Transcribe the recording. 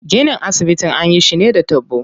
Ginin asibitin anyi shi ne da taɓo.